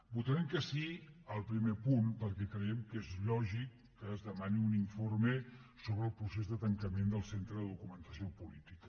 votarem que sí al primer punt perquè creiem que és lògic que es demani un informe sobre el procés de tancament del centre de documentació política